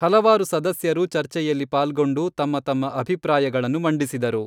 ಹಲವಾರು ಸದಸ್ಯರು ಚರ್ಚೆಯಲ್ಲಿ ಪಾಲ್ಗೊಂಡು ತಮ್ಮ ತಮ್ಮ ಅಭಿಪ್ರಾಯಗಳನ್ನು ಮಂಡಿಸಿದರು.